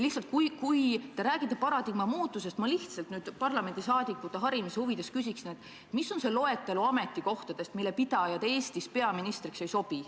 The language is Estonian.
Kui te räägite paradigma muutusest, siis ma lihtsalt parlamendiliikmete harimise huvides küsiks nüüd, et milline võiks olla loetelu ametikohtadest, mille pidajad Eestis peaministriks ei sobi.